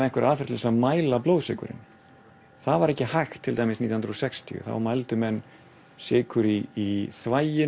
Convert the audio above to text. einhverja aðferð til að mæla blóðsykurinn það var ekki hægt nítján hundruð og sextíu þá mældu menn sykur í þvagi